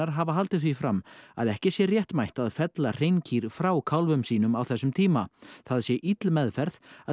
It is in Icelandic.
hafi haldið því fram að ekki sé réttmætt að fella frá kálfum sínum á þessum tíma það sé ill meðferð að